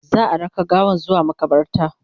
za'a raka gawan zuwa maƙabarta